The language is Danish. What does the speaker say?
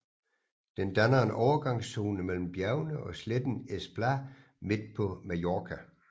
Den danner en overgangszone mellem bjergene og sletten Es Plà midt på Mallorca